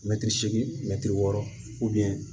Mɛtiri seegin mɛtiri wɔɔrɔ